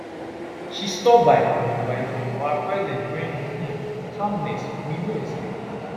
she stop by uninvited but her presence bring um calmness we no expect